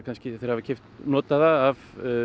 hafa keypt notaða af